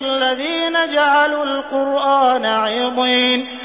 الَّذِينَ جَعَلُوا الْقُرْآنَ عِضِينَ